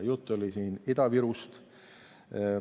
Jutt oli siin Ida-Virust.